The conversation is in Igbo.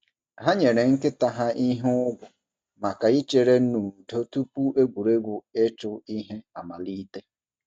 Ha nyere nkịta ha ihe ụgwọ maka ichere n’udo tupu egwuregwu ịchụ ihe amalite.